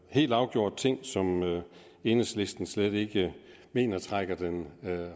helt afgjort ting som enhedslisten slet ikke mener trækker den